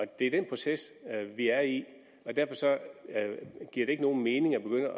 det er den proces vi er i og derfor giver det ikke nogen mening at begynde